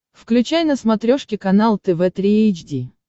включай на смотрешке канал тв три эйч ди